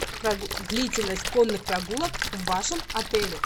длительность конных прогулок в вашем отеле